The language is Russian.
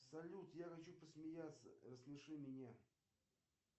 салют я хочу посмеяться рассмеши меня